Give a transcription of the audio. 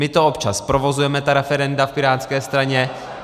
My to občas provozujeme , ta referenda, v pirátské straně.